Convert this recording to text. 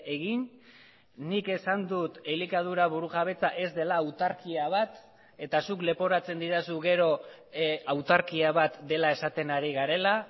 egin nik esan dut elikadura burujabetza ez dela autarkia bat eta zuk leporatzen didazu gero autarkia bat dela esaten ari garela